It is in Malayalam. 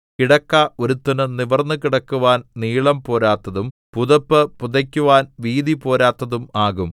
കിടക്ക ഒരുത്തനു നിവർന്നു കിടക്കുവാൻ നീളം പോരാത്തതും പുതപ്പ് പുതയ്ക്കുവാൻ വീതി പോരാത്തതും ആകും